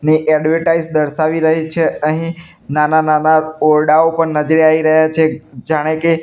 ને એડવર્ટાઇઝ દર્શાવી રહી છે અહીં નાના નાના ઓરડાઓ પણ નજરે આવી રહ્યા છે જાણે કે--